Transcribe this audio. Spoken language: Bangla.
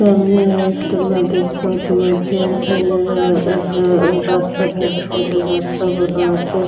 সামনে একটা নদীর স্রোত বইছে এখানে রা রা রাস্তার ধারে ধারে রাস্তা বোনা আছে।